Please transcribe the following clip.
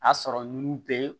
A sɔrɔ nun bɛ